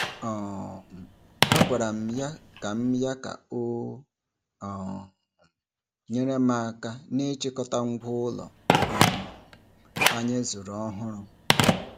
um A gwara m ya ka m ya ka o um nyere m aka n'ịchọta ngwa ụlọ um anyị zụrụ ọhụrụ.